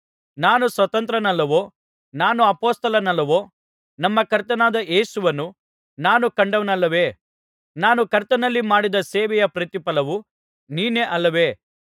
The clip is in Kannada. ನಾನು ಸ್ವತಂತ್ರನಲ್ಲವೋ ನಾನು ಅಪೊಸ್ತಲನಲ್ಲವೋ ನಮ್ಮ ಕರ್ತನಾದ ಯೇಸುವನ್ನು ನಾನು ಕಂಡವನಲ್ಲವೇ ನಾನು ಕರ್ತನಲ್ಲಿ ಮಾಡಿದ ಸೇವೆಯ ಪ್ರತಿಫಲವು ನೀವೇ ಅಲ್ಲವೇ